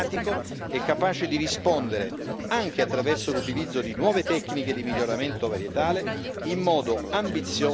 anche attraverso l'utilizzo di nuove tecniche di miglioramento varietale, in modo ambizioso alle richieste di milioni di cittadini.